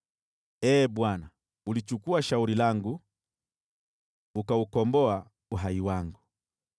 Ee Bwana, ulichukua shauri langu, ukaukomboa uhai wangu.